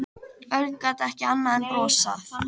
Örn gat ekki annað en brosað.